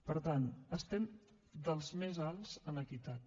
per tant estem dels més alts en equitat